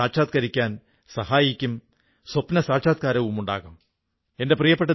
തീർച്ചയായും ഇതെക്കുറിച്ച് ഇന്റർനെറ്റിൽ സർച്ച് ചെയ്യുകയും കാണുകയും ചെയ്യൂ